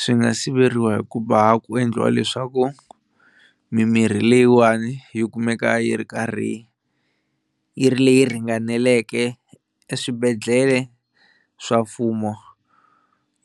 Swi nga siveriwa hi ku va ku endliwa leswaku mimirhi leyiwani yi kumeka yi ri karhi yi ri leyi ringaneleke eswibedhlele swa mfumo